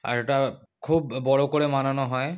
আর এটা খুব বড় করে মানানো হয় ।